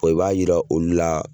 i b'a yira olu la